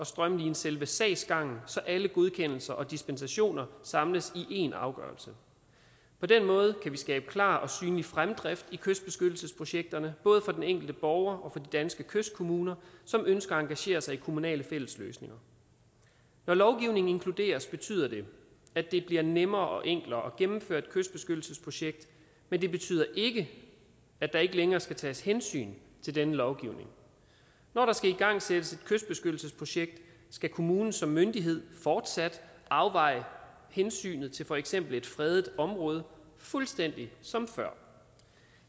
strømline selve sagsgangen så alle godkendelser og dispensationer samles i én afgørelse på den måde kan vi skabe klar og synlig fremdrift i kystbeskyttelsesprojekterne både for den enkelte borger og for danske kystkommuner som ønsker at engagere sig i kommunale fællesløsninger når lovgivningen inkluderes betyder det at det bliver nemmere og enklere at gennemføre et kystbeskyttelsesprojekt men det betyder ikke at der ikke længere skal tages hensyn til denne lovgivning når der skal igangsættes et kystbeskyttelsesprojekt skal kommunen som myndighed fortsat afveje hensynet til for eksempel et fredet område fuldstændig som før